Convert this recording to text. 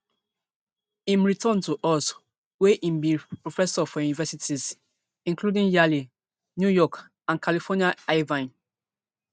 im return to us wia im bin be professor for universities including yale new york and california irvine